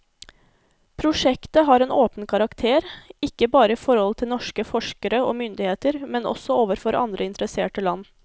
Prosjektet har en åpen karakter, ikke bare i forhold til norske forskere og myndigheter, men også overfor andre interesserte land.